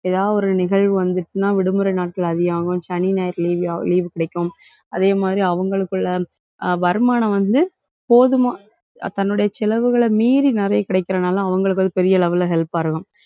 ஏதாவது ஒரு நிகழ்வு வந்துச்சுன்னா விடுமுறை நாட்கள் அதிகம் ஆகும். சனி, ஞாயிறு leave அஹ் leave கிடைக்கும். அதே மாதிரி, அவங்களுக்குள்ள அஹ் வருமானம் வந்து போதுமான தன்னுடைய செலவுகளை மீறி நிறைய கிடைக்கிறதுனால அவங்களுக்கு வந்து பெரிய level ல help ஆ இருக்கும்.